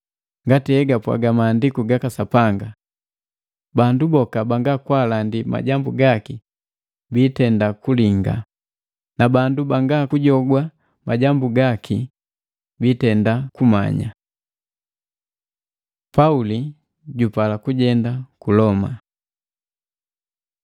Ngati he gapwaga Maandiku gaka Sapanga, “Bandu boka banga kwaalandi majambu gaki biitenda kulinga, na bandu banga kujogwa majambu gaki biitenda kumanya.” Pauli jupala kujenda ku Loma